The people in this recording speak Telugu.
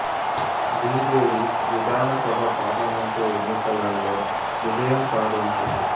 బి జె డి విధాన సభ పార్లమెంటు ఎన్నికలలో విజయం సాధించింది